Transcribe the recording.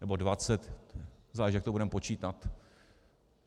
Nebo dvacet - záleží, jak to budeme počítat.